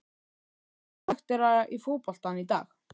Vantar karaktera í fótboltann í dag?